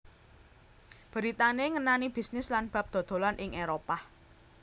Beritané ngenani bisnis lan bab dodolan ing Éropah